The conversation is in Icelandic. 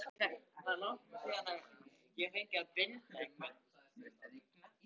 Heyri þar af leiðandi ekki hvað Júlía er að tuldra.